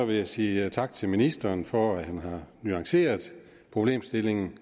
vil jeg sige tak til ministeren for at han har nuanceret problemstillingen